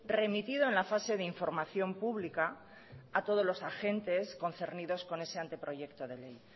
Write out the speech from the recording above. remitido en la fase de información pública a todos los agentes concernidos con ese anteproyecto de ley